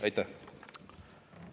Aitäh!